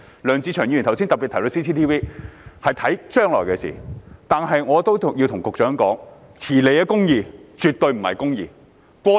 梁志祥議員剛才特別提到 CCTV， 是考慮將來的事情，但我亦要告訴局長，遲來的公義，絕對不是公義。